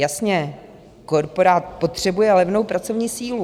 Jasně, korporát potřebuje levnou pracovní sílu.